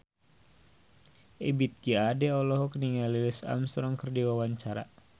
Ebith G. Ade olohok ningali Louis Armstrong keur diwawancara